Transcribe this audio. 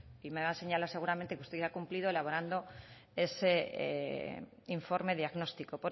y me va a señalar seguramente que usted ya ha cumplido elaborando ese informe diagnóstico